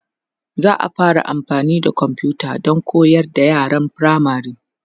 za'a fara amfani da komfuta Dan koyar da yaran firamare